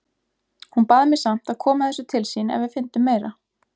Hún bað mig samt að koma þessu til sín ef við fyndum meira.